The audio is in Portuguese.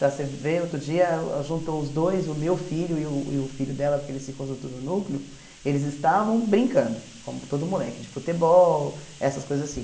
Está você vê, outro dia, juntou os dois, o meu filho e o e o filho dela, porque eles ficam junto no núcleo, eles estavam brincando, como todo moleque, de futebol, essas coisas assim.